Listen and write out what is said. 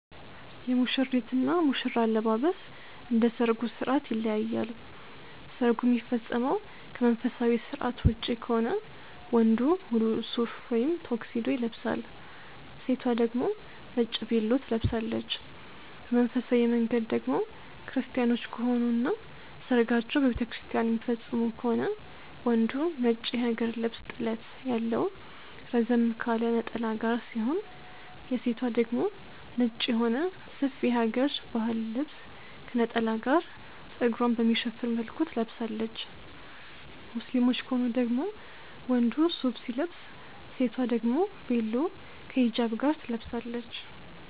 የሙሽሪት እና ሙሽራ አለባበስ እንደ ሰርጉ ስርዓት ይለያያል። ሰርጉ የሚፈጸመው ከመንፈሳዊ ስርዓት ውጪ ከሆነ ወንዱ ሙሉ ሱፍ ወይም ቶክሲዶ ይለብሳል። ሴቷ ደግሞ ነጭ ቬሎ ትለብሳለች። በመንፈሳዊ መንገድ ደግሞ ክርስቲያኖች ከሆኑ እና ሰርጋቸውን በቤተክርስቲያን የሚፈፅሙ ከሆነ ወንዱ ነጭ የሀገር ልብስ ጥለት ያለው ረዘም ካለ ነጠላ ጋር ሲሆን የሴቷ ደግሞ ነጭ የሆነ ሰፊ የሀገረ ባህል ልብስ ከነጠላ ጋር ፀጉሯን በሚሸፍን መልኩ ትለብሳለች። ሙስሊሞች ከሆኑ ደግሞ ወንዱ ሱፍ ሲለብስ ሴቷ ደግሞ ቬሎ ከ ሂጃብ ጋር ትለብሳለች።